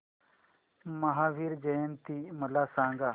महावीर जयंती मला सांगा